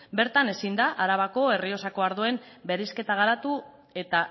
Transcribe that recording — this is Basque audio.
bertan ezin da arabako errioxako ardoen bereizketa garatu eta